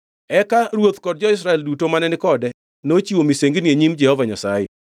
Eka ruoth kod jo-Israel duto mane ni kode nochiwo misengini e nyim Jehova Nyasaye.